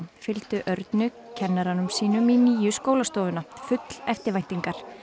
fylgdu Örnu kennaranum sínum í nýju skólastofuna full eftirvæntingar